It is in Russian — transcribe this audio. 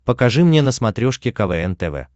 покажи мне на смотрешке квн тв